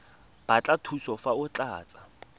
batla thuso fa o tlatsa